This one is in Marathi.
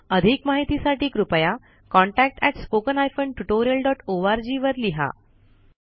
अधिक माहितीसाठी कृपया contactspoken tutorialorg वर लिहा